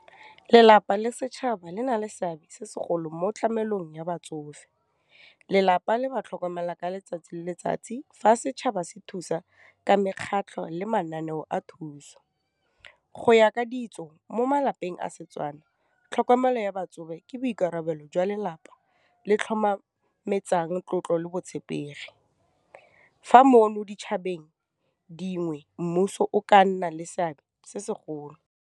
Lelapa le setšhaba le na le seabe se segolo mo tlamelang ya batsofe, lelapa le ba tlhokomela ka letsatsi le letsatsi, fa setšhaba se thusa ka mekgatlho le mananeo a thuso, go ya ka ditso mo malapeng a setswana, tlhokomelo ya batsofe ke boikarabelo jwa lelapa le tlotlo le botshepegi. Fa ditšhabeng dingwe mmuso o ka nna le seabe se segolo.